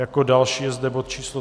Jako další je zde bod číslo